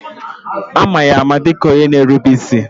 Ama ya ama dịka onye na erube isi.